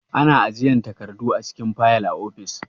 Ana ajiyan takardu a cikin fayil a ofis.